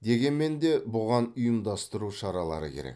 дегенмен де бұған ұйымдастыру шаралары керек